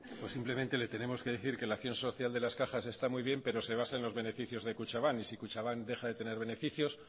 simplemente le tenemos que decir que las acción social de las cajas está muy bien pero se basa en los beneficios de kutxabank y si kutxabank deja de tener beneficios